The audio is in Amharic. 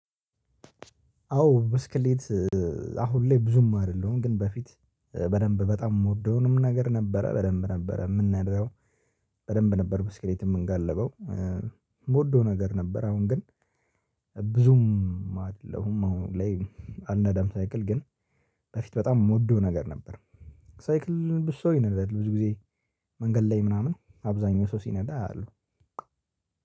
አዎ ብስክሌት አሁን ላይ ብዙም አይደለሁም ግን በፊት በደንብ በጣም የምወደውንም ነገር ነበረ በደንብ ነበረ የምንነዳው። በደንብ ነበር በስኬሌት የምንጋለበው የምወደው ነገር ነበረ። አሁን ግን ብዙም አይደለሁም አሁን ላይ አነዳም ሳይክል። ግን በፊት በጣም የምወደው ነገር ነበር። ሳይክል ብዙ ሰው ይነዳል ብዙ ጊዜ። መንገድ ላይ ምናምን አብዛኛው ሰው ሲነዳ አያለው።